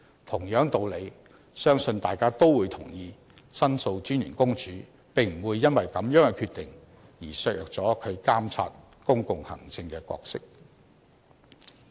同樣道理，相信大家都會同意申訴專員公署並不會因為這樣的決定，而削弱了其監察公共行政的角色。